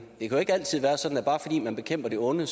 ikke altid være sådan at bare fordi man bekæmper det onde